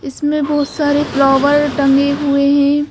इसमें बहुत सारेफ्लावर टांगे हुए हैं।